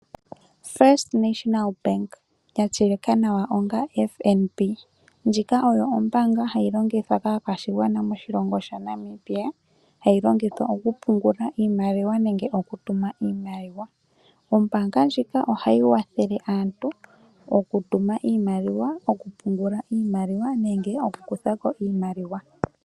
First National Bank ya tseyika nawa FNB ndjika oyo ombanga hayi longithwa ka kwashigwana moshilongo sha Namibia. Hayi longithwa oku pungula iimaliwa nenge oku tuma iimaliwa. Ombanga ndjika ohayi wathele aantu oku tuma iimaliwa, oku pungula iimaliwa nenge okuku kuthako iimaliwa.